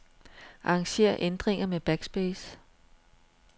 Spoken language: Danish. Arranger ændringer med backspace.